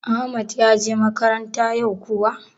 Ahmad ya je makaranta yau kuwa?